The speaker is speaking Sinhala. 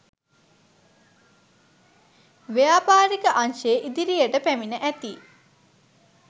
ව්‍යාපාරික අංශයේ ඉදිරියට පැමිණ ඇති